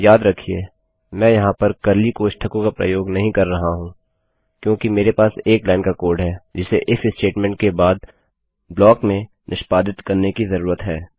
याद रखिये मैं यहाँ पर कर्ली कोष्ठकों का प्रयोग नहीं कर रहा हूँ क्योंकि मेरे पास एक लाइन का कोड है जिसे इफ स्टेटमेंट के बाद ब्लाक में निष्पादित करने की जरूरत है